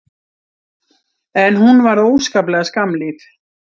En hún varð óskaplega skammlíf.